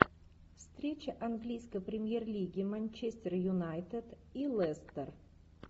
встреча английской премьер лиги манчестер юнайтед и лестер